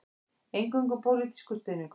Eingöngu pólitískur stuðningur